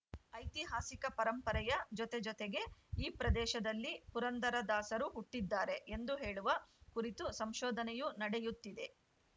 ಐತಿಹಾಸಿಕ ಪರಂಪರೆಯ ಜೊತೆಜೊತೆಗೆ ಈ ಪ್ರದೇಶದಲ್ಲಿ ಪುರಂದರ ದಾಸರು ಹುಟ್ಟಿದ್ದಾರೆ ಎಂದು ಹೇಳುವ ಕುರಿತು ಸಂಶೋಧನೆಯೂ ನಡೆಯುತ್ತಿದೆ